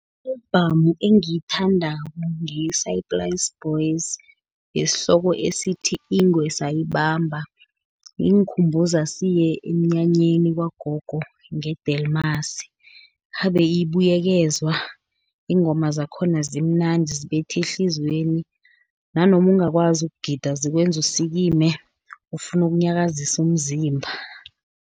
I-albhamu engiyithandako, ngeye-Saaiplaas Boys, yesihloko esithi, Ingwe Sayibamba ingikhumbuza siye emnyanyeni kwagogo, nge-Delmas, khabe ibuyekezwa. Iingoma zakhona zimnandi, zibetha ehliziyweni, nanoma ungakwazi ukugida, zikwenza usikime ufune ukunyakazisa umzimba.